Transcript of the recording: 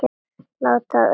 Láta af öllu slaðri.